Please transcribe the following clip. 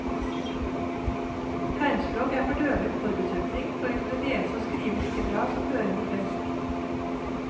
Tegnspråk er for døve en forutsetning for å kunne lese og skrive like bra som hørende flest.